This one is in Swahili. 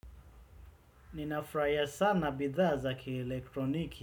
Ninafurahia sana bidhaa za kielektroniki.